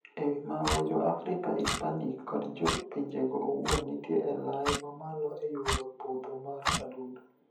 E wii mago, jo Afrika, Hispanic, kod jo pinjego owuon nitie e lai mamalo e yudo podho mar adundo.